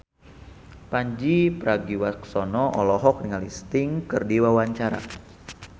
Pandji Pragiwaksono olohok ningali Sting keur diwawancara